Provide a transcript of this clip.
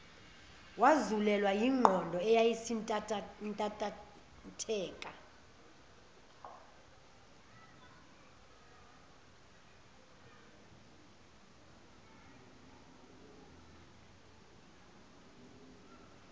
wazulelwa nayingqondo eyayisintantatheka